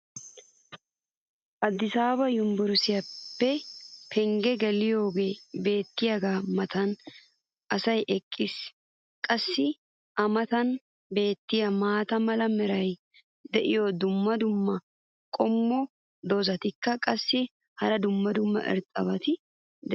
Adisaaba yunbburssiya pengee geliyoogee beetiyaaga matan asay eqqiis. qassi a matan beetiya maata mala meray diyo dumma dumma qommo dozzati qassikka hara dumma dumma irxxabati doosona.